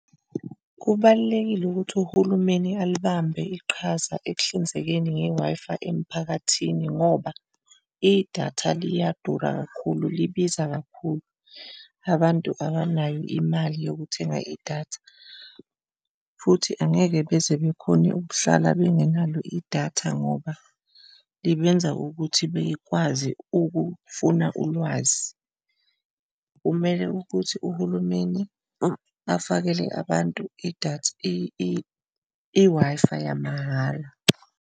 Kubalulekile ukuthi uhulumeni alibambe iqhaza ekuhlinzekeni nge-Wi-Fi emiphakathini ngoba idatha liyadura kakhulu, libiza kakhulu abantu abanayo imali yokuthenga idatha, futhi angeke beze bekhone ukuhlala bengenalo idatha ngoba libenza ukuthi bekwazi ukufuna ulwazi. Kumele ukuthi uhulumeni afakele abantu idatha i-Wi-Fi yamahhala.